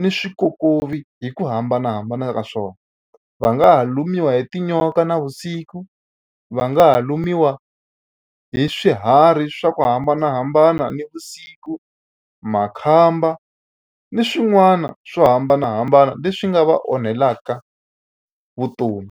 ni swikokovi hi ku hambanahambana ka swona. Va nga ha lumiwa hi tinyoka navusiku, va nga ha lumiwa hi swiharhi swa ku hambanahambana navusiku, makhamba ni swin'wana swo hambanahambana leswi nga va onhelaka vutomi.